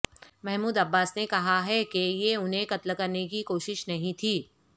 Mahmood Abbas نے کہا ہے کہ یہ انہیں قتل کرنے کی کوشش نہیں تھی